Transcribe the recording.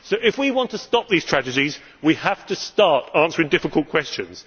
So if we want to stop these tragedies we have to start answering difficult questions.